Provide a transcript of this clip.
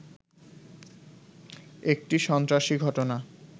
এটি সন্ত্রাসী ঘটনা